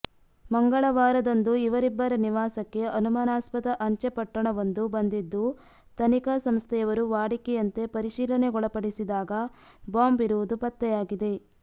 ಮಂಗಳವಾರದಂದು ಇವರಿಬ್ಬರ ನಿವಾಸಕ್ಕೆ ಅನುಮಾನಸ್ಪದ ಅಂಚೆ ಪೊಟ್ಟಣವೊಂದು ಬಂದಿದ್ದು ತನಿಖಾ ಸಂಸ್ಥೆಯವರು ವಾಡಿಕೆಯಂತೆ ಪರಿಶೀಲನೆಗೊಳಪಡಿಸದಾಗ ಬಾಂಬ್ ಇರುವುದು ಪತ್ತೆಯಾಗಿದೆ